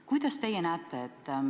Kuidas teie seda probleemi näete?